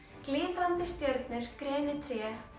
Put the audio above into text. glitrandi stjörnur grenitré